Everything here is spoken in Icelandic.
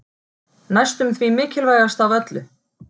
Næstum því mikilvægast af öllu.